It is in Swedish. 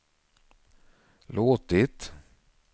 låtit